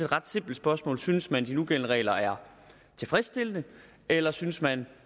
ret simpelt spørgsmål synes man at de nugældende regler er tilfredsstillende eller synes man